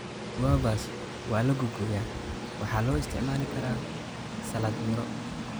Guavas waa la googooyaa waxaana loo isticmaali karaa salad miro.